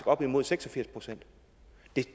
op imod seks og firs procent